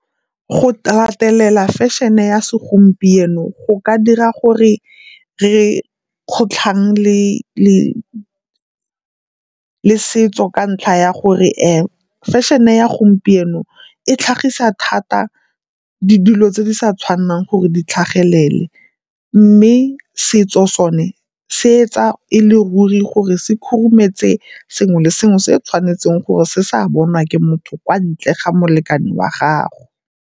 Go latelela fashion-e ya segompieno go ka dira gore re kgotlhang le setso ka ntlha ya gore fashion-e ya gompieno e tlhagisa thata dilo tse di sa tshwanelang gore di tlhagelele mme setso sone se etsa e le ruri gore se khurumetse sengwe le sengwe se tshwanetseng gore se se a bonwa ke motho kwa ntle ga molekane wa gagwe.